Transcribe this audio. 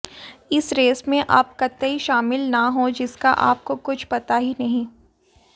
उस रेस में आप कतई शामिल न हो जिसका आपको कुछ पता ही नहीं